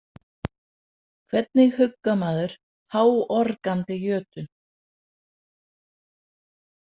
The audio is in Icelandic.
Hvernig huggar maður háorgandi jötun?